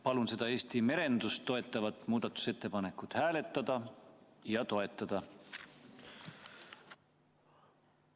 Palun seda Eesti merendust toetavat muudatusettepanekut hääletada ja toetada!